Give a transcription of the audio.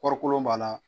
Kɔɔri kolon b'a la